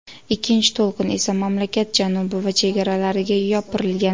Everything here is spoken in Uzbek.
Ikkinchi to‘lqin esa mamlakat janubi va chegaralariga yopirilgan.